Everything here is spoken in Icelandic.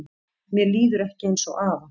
Mér líður ekki eins og afa